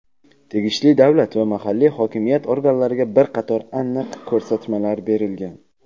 tegishli davlat va mahalliy hokimiyat organlariga bir qator aniq ko‘rsatmalar berilgan.